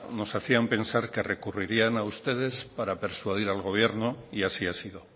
nos hacían pensar que recurrirían a ustedes para persuadir al gobierno y así ha sido